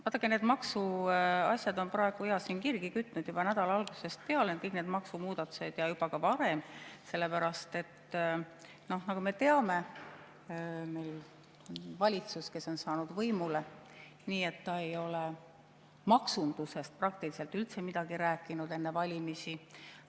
Vaadake, need maksuasjad on praegu siin kirgi kütnud juba nädala algusest peale – kõik need maksumuudatused – ja juba ka varem, sellepärast et nagu me teame, meil on valitsus, kes on saanud võimule nii, et ta ei ole maksundusest praktiliselt üldse midagi rääkinud enne valimisi.